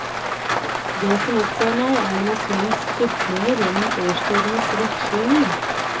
Det som opptar meg er naturens skiftninger gjennom årstidenes vekslinger.